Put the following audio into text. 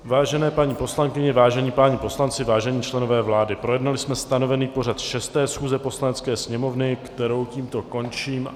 Vážené paní poslankyně, vážení páni poslanci, vážení členové vlády, projednali jsme stanovený pořad 6. schůze Poslanecké sněmovny, kterou tímto končím.